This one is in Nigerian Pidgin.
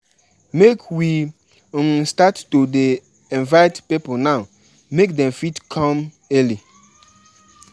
I dey hope sey di musicians wey we invite go show up on show up on time